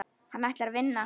Hann ætlaði að vinna.